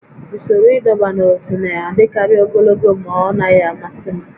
Usoro ịdọba n'ótú na-adịkarị ogologo ma ọ naghị amasị m